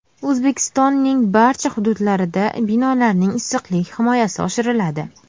O‘zbekistonning barcha hududlarida binolarning issiqlik himoyasi oshiriladi.